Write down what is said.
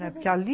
Porque ali...